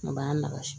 A b'an lakasɛ